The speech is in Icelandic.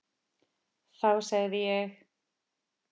Þá segði ég: